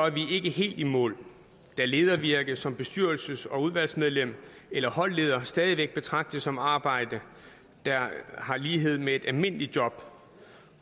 er vi ikke helt i mål da ledervirke som bestyrelses og udvalgsmedlem eller holdleder stadig væk betragtes som arbejde der har lighed med et almindeligt job